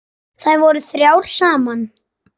Þær voru þrjár saman.